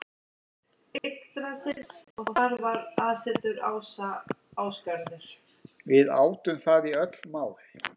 Við átum það í öll mál.